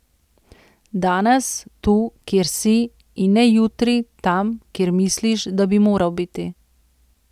Danes, tu, kjer si, in ne jutri, tam, kjer misliš, da bi moral biti.